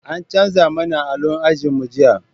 An canza mana allo ajin mu jiya